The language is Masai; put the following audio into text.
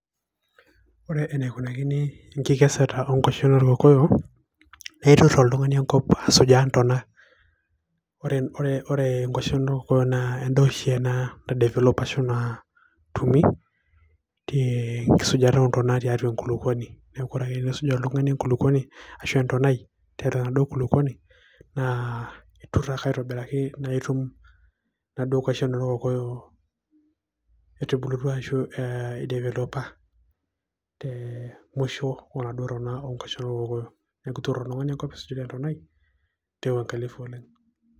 Ore eneikunakini nkikeseta onkwashen orkokoyo na itur oltungani enkop asujaa ntonaa ore ore nkwashen orkokoyo na endaa oshi ena nadevoleshopa natumi ee enkisujata ontona tiatua enkulukuoni neaku ore peisuj oltungani enkulukuoni ashu entonai tiatua enaduo kulukuoni naa itur ake aitobiraki na itum naduo kwashen orkokoyo etubulutua ashu ee e developa te mwisho ontono onaduo kwashen orkokoyo ore peaku isijita entonai taa wuangalifu oleng.